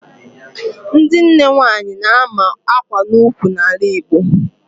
Ndị nne nwaanyị na-ama akwa n'ukwu n'ala Igbo